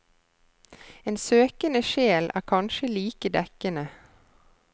En søkende sjel er kanskje like dekkende.